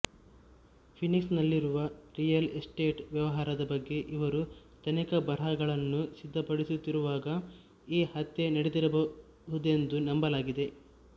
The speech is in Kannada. ಫೀನಿಕ್ಸ್ ನಲ್ಲಿರುವ ರಿಯಲ್ ಎಸ್ಟೇಟ್ ವ್ಯವಹಾರದ ಬಗ್ಗೆ ಅವರು ತನಿಖಾ ಬರಹಗಳನ್ನು ಸಿದ್ದಪಡಿಸುತ್ತಿರುವಾಗ ಈ ಹತ್ಯೆ ನಡೆದಿರಬಹುದೆಂದು ನಂಬಲಾಗಿದೆ